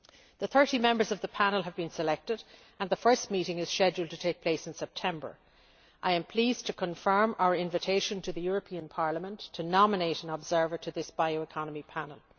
The 30 members of the panel have been selected, and the first meeting is scheduled to take place in September. I am pleased to confirm our invitation to Parliament to nominate an observer to this Bioeconomy Panel.